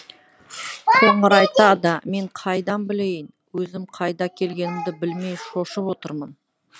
қоңыр айтады мен қайдан білейін өзім қайда келгенімді білмей шошып отырмын